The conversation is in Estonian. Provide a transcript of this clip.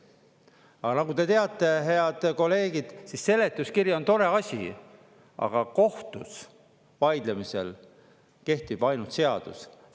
Aga nagu te teate, head kolleegid, siis seletuskiri on tore asi, aga kohtus vaidlemisel kehtib ainult seadus.